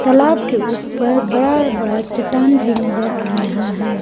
तालाब के ऊपर बड़ा बड़ा चट्टान भी नजर आ रहा है।